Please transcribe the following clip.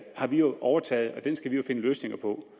har vi overtaget og den skal vi jo finde løsninger på